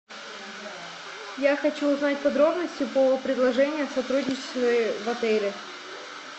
я хочу узнать подробности по предложению о сотрудничестве в отеле